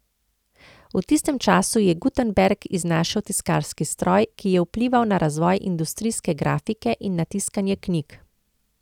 V tistem času je Gutenberg iznašel tiskarski stroj, ki je vplival na razvoj industrijske grafike in na tiskanje knjig.